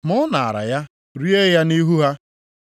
Ma ọ naara ya rie ya nʼihu ha.